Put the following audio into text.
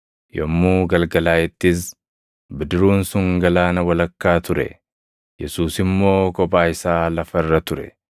Yommuu galgalaaʼettis bidiruun sun galaana walakkaa ture; Yesuus immoo kophaa isaa lafa irra ture.